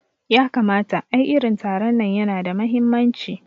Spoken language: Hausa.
Yakamata, ai irin taron nan yana da mahimmanci